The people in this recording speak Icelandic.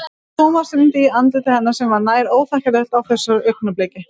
Thomas rýndi í andlit hennar sem var nær óþekkjanlegt á þessu augnabliki.